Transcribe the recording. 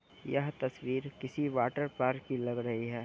ये तस्वीर किसी वाटर पार्क की लग रही है।